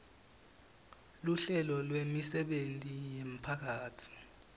luhlelo lwemisebenti yemphakatsi